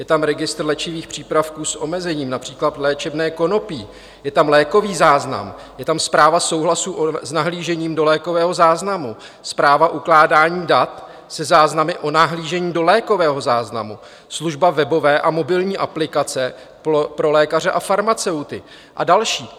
Je tam registr léčivých přípravků s omezením, například léčebné konopí, je tam lékový záznam, je tam zpráva souhlasu s nahlížením do lékového záznamu, zpráva ukládání dat se záznamy o nahlížení do lékového záznamu, služba webové a mobilní aplikace pro lékaře a farmaceuty a další.